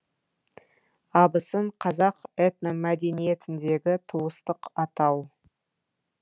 абысын қазақ этномәдениетіндегі туыстық атау